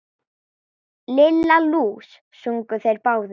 Lilla lús! sungu þeir báðir.